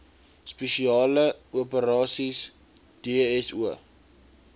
spesiale operasies dso